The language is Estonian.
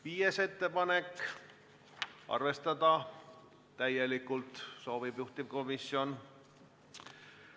Viies ettepanek – juhtivkomisjon soovib sedagi arvestada täielikult.